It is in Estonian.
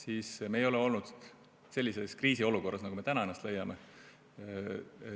Aga me ei ole olnud sellises kriisiolukorras, nagu me täna ennast leiame.